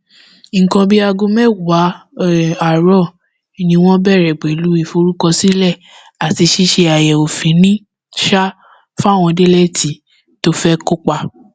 nǹkan bíi aago mẹwàá um àárọ ni wọn bẹrẹ pẹlú ìforúkọsílẹ àti ṣíṣe àyẹwò fínni um fáwọn délẹẹtì tó fẹ kópa